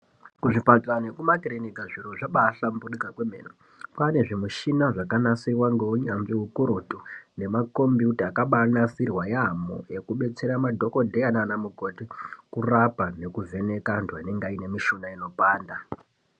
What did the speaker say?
Kuzvipatara nekumakirinika zviro zvabahlamburika kwemene kwane zvimichina zvakabanasirwa ngeunyanzvi hukurutu. Nemakombiyuta akabanasirwa yaamho, ekubetsera madhogodheya nana mukoti kurapa nekuvheneka antu anenge aine mishuna inopanda.